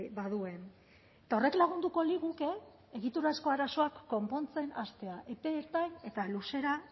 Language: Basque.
baduen eta horrek lagunduko liguke egiturazko arazoak konpontzen hastea epe ertain eta luzera